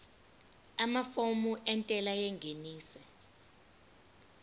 amafomu entela yengeniso